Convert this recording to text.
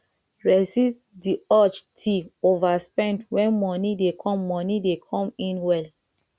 resist di urge ti overspend when money dey come money dey come in well